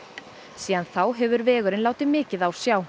síðan þá hefur vegurinn látið mikið á sjá